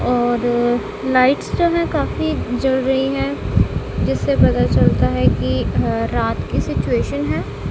और लाइट्स जो है काफी जल रही हैं जिससे पता चलता है कि अ रात की सिचुएशन है।